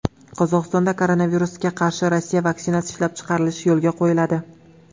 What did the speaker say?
Qozog‘istonda koronavirusga qarshi Rossiya vaksinasi ishlab chiqarilish yo‘lga qo‘yiladi.